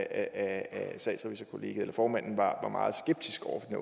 af statsrevisorkollegiet formanden var meget skeptisk over for den